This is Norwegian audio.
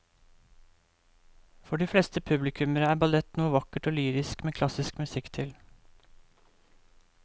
For de fleste publikummere er ballett noe vakkert og lyrisk med klassisk musikk til.